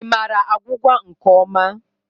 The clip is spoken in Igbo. Ị maara agwụgwa nke ọma?